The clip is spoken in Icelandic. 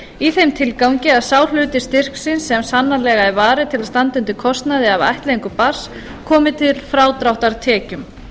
í þeim tilgangi að sá hluti styrksins sem sannanlega er varið til að standa undir kostnaði af ættleiðingu barns komi til frádráttar tekjum